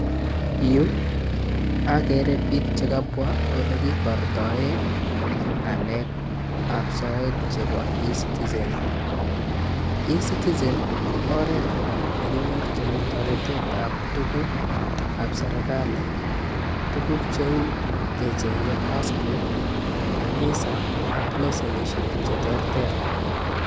Yu akere piik che kabwa ole kibortoe ngalekab soet chebo eCitizen, eCitizen ko oret nekinyorchin toretetab tugukab Serikali tuguk cheu kechenye passport, visa ak leshenisiek che terter.